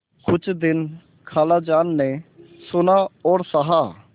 कुछ दिन खालाजान ने सुना और सहा